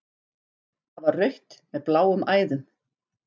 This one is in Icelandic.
Það var rautt með bláum æðum.